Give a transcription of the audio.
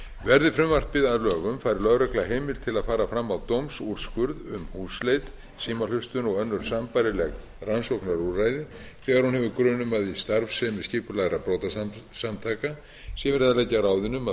verði frumvarpið að lögum fær lögregla heimild til að fara fram á dómsúrskurð um húsleit símahlustun og önnur sambærileg rannsóknarúrræði þegar hún hefur grun um að í starfsemi skipulagðra brotasamtaka sé verið að leggja á ráðin um að